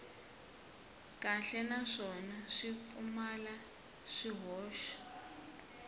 kahle naswona swi pfumala swihoxo